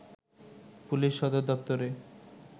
police সদর দপ্তরের